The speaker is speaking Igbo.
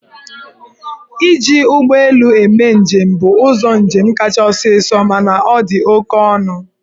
Iji ụgbọ elu eme njem bụ ụzọ njem kacha ọsọọsọ mana ọ dị oke ọnụ.